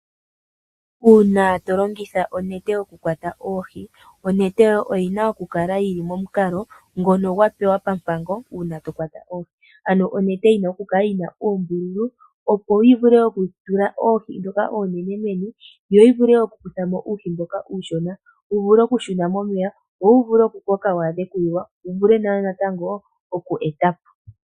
Uuna to longitha onete oku kwata oohi onete yoye oyina oku kala yili momukalo ngono gwa pewa pampango uuna to kwata oohi. Ano onete oyina okukala yina oombululu opo yi vule oku tula oohi ndhoka oonene meni yo yi vule oku kuthamo uuhi mboka uushona wu vule oku shuna momeya wo wu vule oku koka wu adhe oku liwa wo wu vule natango oku etapo.